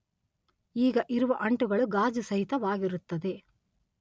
ಈಗ ಇರುವ ಅಂಟುಗಳು ಗಾಜು ಸಹಿತವಾಗಿರುತ್ತದೆ